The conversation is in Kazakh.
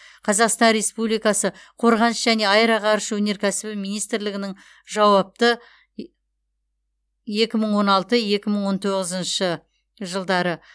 қазақстан республикасы қорғаныс және аэроғарыш өнеркәсібі министрлігінің жауапты е екі мың он алты екі мың он тоғызыншы жылдары